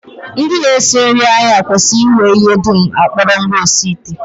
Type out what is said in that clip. Ndị na-esi nri ahịa kwesịrị inwe ihe dum a kpọrọ ngwaosiite